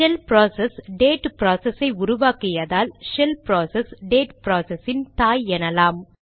shell process date process ஐ உருவாக்கியதால் shell process date ப்ராசஸின் தாய் எனலாம்